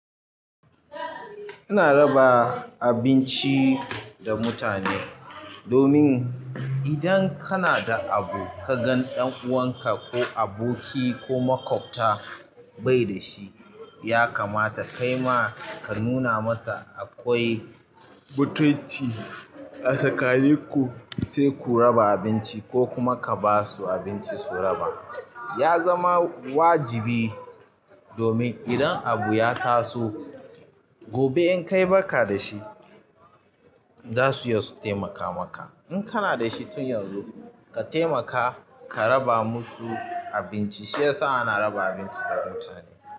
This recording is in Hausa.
Ina raba abinci da mutane domin idon kanada abu kaga ɗanuwanka ko aboki ko maƙwabta bai da shi, ya kamata kai ma kanuna masa akwai mutunci a tsakanin ku, sai ku raba abinci ko kuma ka ba su abinci su raba. Ya zama wajibi domin idan abu ya taso gobe in kai baka da shi, za su iya su taimaka maka. In kana da shi tun yanzu ka taimaka ka raba musu abinci shiyasa ana raba abinci da mutane.